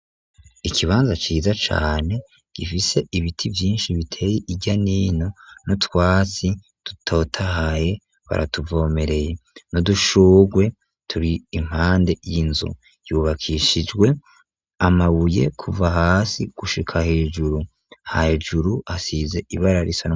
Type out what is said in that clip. Ikibanza ciza cane gifise ibiti vyinshi biteye irya n'ino no twatsi dutotahaye baratuvomereye noudushurwe turi impande y'inzo yubakishijwe amabuye kuva hasi gushika hejuru hajuru hasize ibararie.